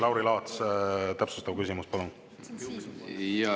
Lauri Laats, täpsustav küsimus, palun!